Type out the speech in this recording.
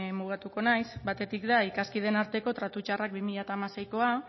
mugatuko naiz batetik da ikaskideen arteko tratu txarrak bi mila seikoa